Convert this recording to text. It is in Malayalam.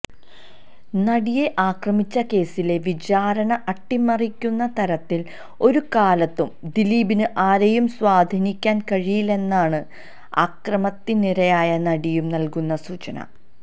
നടിയെ ആക്രമിച്ച കേസിലെ വിചാരണ അട്ടിമറിക്കുന്ന തരത്തിൽ ഒരുകാലത്തും ദിലീപിന് ആരേയും സ്വാധീനിക്കാൻ കഴിയില്ലെന്നാണ് അക്രമത്തിനിരയായ നടിയും നൽകുന്ന സൂചന